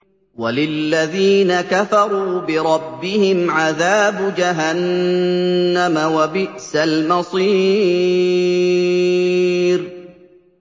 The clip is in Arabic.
وَلِلَّذِينَ كَفَرُوا بِرَبِّهِمْ عَذَابُ جَهَنَّمَ ۖ وَبِئْسَ الْمَصِيرُ